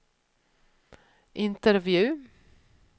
intervju